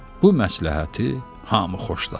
Bu məsləhəti hamı xoşladı.